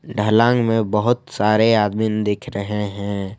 ढलांग में बहुत सारे आदमीन दिख रहे हैं।